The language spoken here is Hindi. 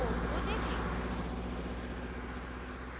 code को देखें